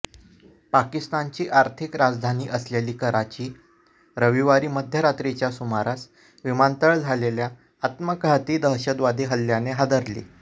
पाकिस्तानची आर्थिक राजधानी असलेली कराची रविवारी मध्यरात्रीच्या सुमारास विमानतळ झालेल्या आत्मघातकी दहशतवादी हल्ल्याने हादरली